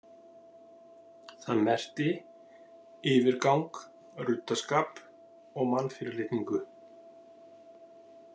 Það merkti yfirgang, ruddaskap og mannfyrirlitningu.